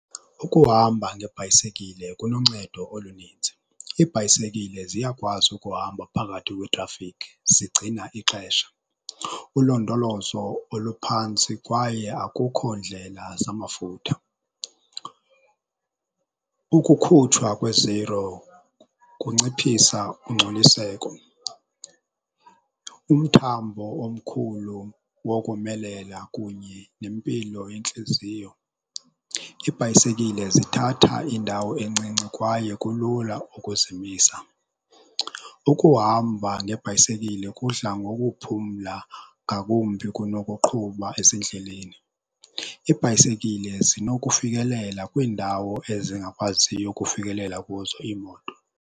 Ukuhamba ngebhayisekile kuluncedo oluninzi. Iibhayisekile ziyakwazi ukuhamba phakathi kwetrafikhi zigcina ixesha, ulondolozo oluphantsi, kwaye akukho ndlela zamafutha. Ukukhutshwa kweziro kunciphisa ungcoliseko, umthambo omkhulu nokomelela kunye nempilo yentliziyo. Iibhayisekile zithatha indawo encinci kwaye kulula ukuzimisa. Ukuhamba ngebhayisekile kudla ngokuphumla ngakumbi kunokuqhuba ezindleleni. Ibhayisekile zinokufikelela kwiindawo ezingakwaziyo ukufikelela kuzo iimoto.